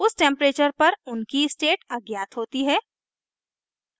उस temperature पर उनकी state अज्ञात होती है